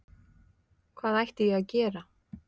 Hvað ætti ég að gera?